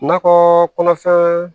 Nakɔ kɔnɔfɛn